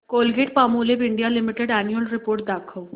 Colgate Palmolive India limited annual report दाखव